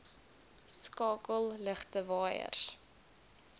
skakel ligte waaiers